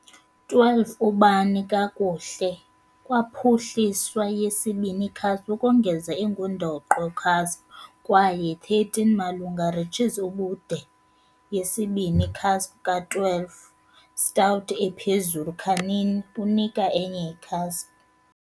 12 ubani kakuhle-kwaphuhliswa yesibini cusp ukongeza engundoqo cusp kwaye 13 malunga reaches ubude yesibini cusp ka-12. - stout ephezulu canine unika enye cusp.